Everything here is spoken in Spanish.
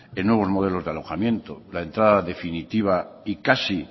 en nuevos modelos de alojamiento la entrada definitiva y casi